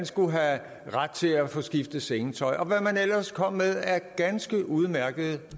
skulle have ret til at få skiftet sengetøj og hvad man ellers kom med af ganske udmærkede